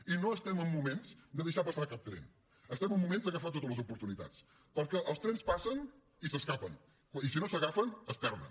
i no estem en moments de deixar passar cap tren estem en moments d’agafar totes les oportunitats perquè els trens passen i s’escapen i si no s’agafen es perden